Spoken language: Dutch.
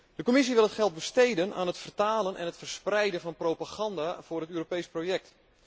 De Commissie wil het geld besteden aan het vertalen en het verspreiden van propaganda voor het Europees project.